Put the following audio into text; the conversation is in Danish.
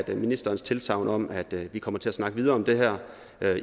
ministerens tilsagn om at vi kommer til at snakke videre om det her